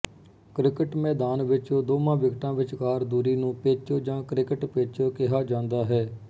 cricket ਮੈਦਾਨ ਵਿੱਚ ਦੋਵਾਂ ਵਿਕਟਾਂ ਵਿਚਕਾਰ ਦੂਰੀ ਨੂੰ ਪਿੱਚ ਜਾਂ ਕ੍ਰਿਕਟ ਪਿੱਚ ਕਿਹਾ ਜਾਂਦਾ ਹੈ